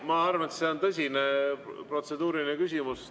Ma arvan, et see on tõsine protseduuriline küsimus.